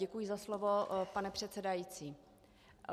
Děkuji za slovo, pane předsedající.